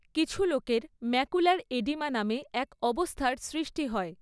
কিছু লোকের macular oedema নামে এক অবস্থার সৃষ্টি হয়।